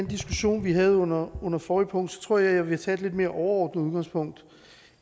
diskussion vi havde under under forrige punkt tror jeg jeg vil tage et lidt mere overordnet udgangspunkt